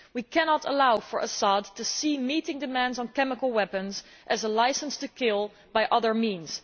We cannot allow Assad to see meeting demands on chemical weapons as a licence to kill by other means.